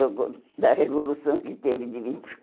da revolução que teve de vinte